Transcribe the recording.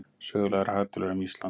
Sögulegar hagtölur um Ísland.